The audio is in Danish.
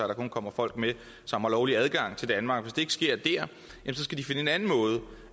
der kun kommer folk med som har lovlig adgang til danmark hvis ikke det sker der skal de finde en anden måde